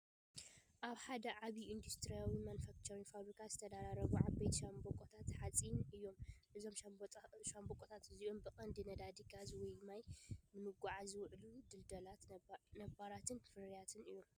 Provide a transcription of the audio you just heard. ኣብ ሓደ ዓቢ ኢንዱስትርያዊ ማኑፋክቸሪንግ ፋብሪካ ዝተደራረቡ ዓበይቲ ሻምብቆታት ሓጺን እዮም። እዞም ሻምብቆታት እዚኣቶም ብቐንዱ ነዳዲ፡ ጋዝ ወይ ማይ ንምጉዕዓዝ ዝውዕሉ ድልዱላትን ነባራትን ፍርያት እዮም።